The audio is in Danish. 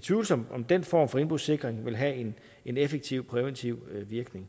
tvivlsomt om den form for indbrudssikring vil have en en effektiv præventiv virkning